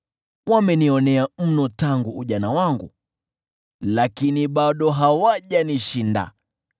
wamenionea mno tangu ujana wangu, lakini bado hawajanishinda.